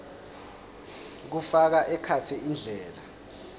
kufaka ekhatsi indlela